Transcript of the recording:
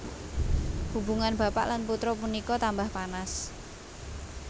Hubungan bapak lan putra punika tambah panas